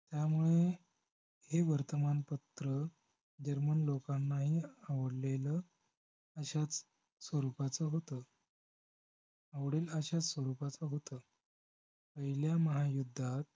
त्यामुळे हे वर्तमान पत्र जर्मन लोकांनाही आवडलेलं अशाच स्वरूपाचं होत आवडेल अशाच स्वरूपाचं होत पहिल्या महायुद्धात